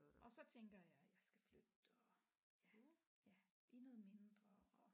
Og så tænker jeg at jeg skal flytte og ja i noget mindre og